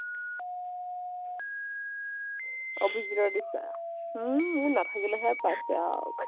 অভিজীতৰ নিচিনা। হু মোৰ নাথাকিলেহে পাইছে আৰু।